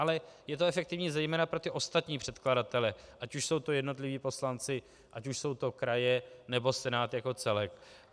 Ale je to efektivní zejména pro ty ostatní předkladatele, ať už jsou to jednotliví poslanci, ať už jsou to kraje, nebo Senát jako celek.